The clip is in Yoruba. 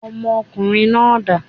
Ọmọ ọkùnrin náà dà?